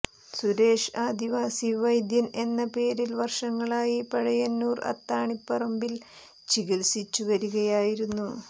സുരേഷ് ആദിവാസി വൈദ്യൻ എന്ന പേരിൽ വർഷങ്ങളായി പഴയന്നൂർ അത്താണിപറമ്പിൽ ചികിത്സിച്ചു വരികയായിരുന്നു